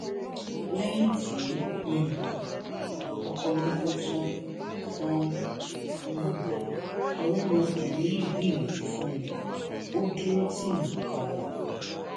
lẹyìn tí um ọkọ mi kú tán tán um ọrẹ mi ọkùnrin yìí gbìyànjú fún mi ó dúró tì mí ganan